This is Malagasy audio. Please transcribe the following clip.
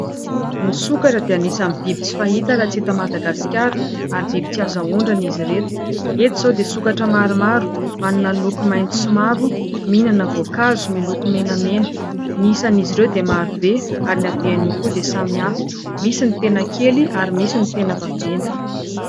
Ny sokatra dia anisany biby tsy fahita raha tsy eto Madagaskara ary biby tsy azo ahondrana izy ireto. Etsy izao dia sokatra maromaro, manana loko mainty sy mavo mihinana voankazo miloko menamena, ny isan'izy ireo dia marobe ary ny habeny koa dia samy hafa misy ny tena kely ary misy ny tena vaventy.